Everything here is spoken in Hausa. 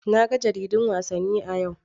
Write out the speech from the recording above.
Na ga jaridun wasanni a yau.